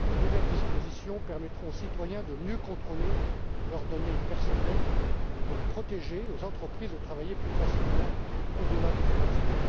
De nouvelles dispositions permettront aux citoyens de mieux contrôler leurs données personnelles, de mieux les protéger, et aux entreprises de travailler plus facilement au delà des frontières.